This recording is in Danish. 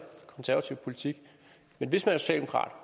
konservativ politik